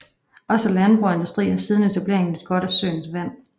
Også landbrug og industri har siden etableringen nydt godt af søens vand